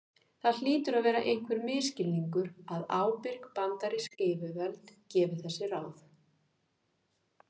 það hlýtur að vera einhver misskilningur að ábyrg bandarísk yfirvöld gefi þessi ráð